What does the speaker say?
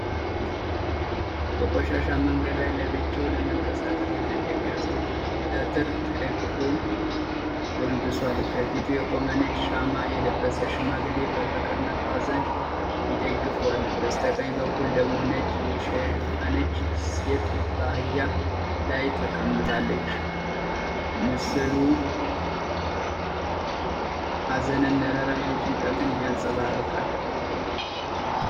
በቆሻሻ መንገድ ላይ ለብቻው ለመንቀሳቀስ የተቸገረ ሰው በበትር ተደግፎ ጎንብሷል። ከፊቱ የቆመ ነጭ ሻማ የለበሰ ሽማግሌ በፍቅርና በሀዘን ይደግፈዋል። በስተቀኝ በኩል ደግሞ ነጭ የሸፈነች ሴት በአህያ ላይ ተቀምጣለች። ምስሉ ሀዘንን፣ ርህራሄንና ጭንቀትን ያንጸባርቃል።